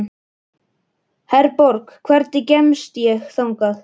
Herborg, hvernig kemst ég þangað?